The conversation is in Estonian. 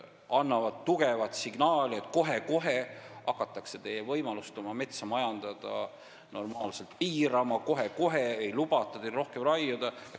Antakse tugev signaal, et kohe-kohe hakatakse teie võimalusi oma metsa normaalselt majandada eirama, kohe-kohe ei lubata teil rohkem raiuda.